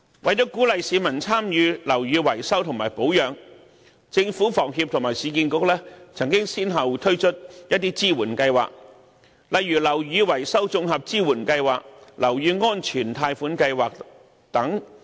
為了鼓勵市民參與樓宇維修和保養，政府、房協和市建局曾先後推出一些支援計劃，例如樓宇維修綜合支援計劃和樓宇安全貸款計劃等。